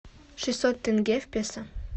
шестьсот тенге в песо